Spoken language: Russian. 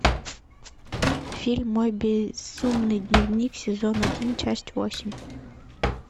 фильм мой безумный дневник сезон один часть восемь